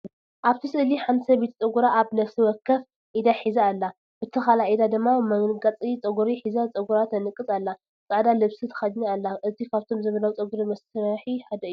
ኣብቲ ስእሊ ሓንቲ ሰበይቲ ጸጉራ ኣብ ነፍሲ ወከፍ ኢዳ ሒዛ ኣላ። በቲ ካልእ ኢዳ ድማ መንቀጽ ጸጉሪ ሒዛ ጸጉራ ትነቅጽ ኣላ። ጻዕዳ ልብሲ ተኸዲና ኣላ። እዚ ካብቶም ዘመናዊ ፀጉሪ መስሒ ሓደ እዩ።